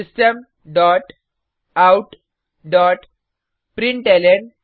system dot out dot println